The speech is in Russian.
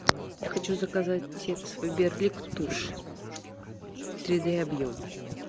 хочу заказать фаберлик тушь три д объем